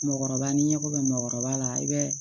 Mɔɔkɔrɔba n'i ɲɛko bɛ mɔgɔkɔrɔba la i bɛ